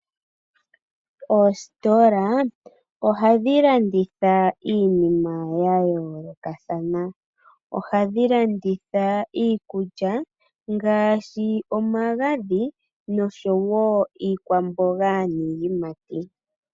Oositola ohadhi landitha iinima ya yoolokathana . Ohadhi landitha Iikulya ngaashi omagadhi noshowo iikwamboga niiyimati.